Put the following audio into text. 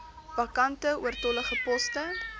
vakante oortollige poste